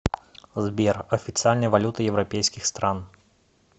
сбер официальная валюта европейских стран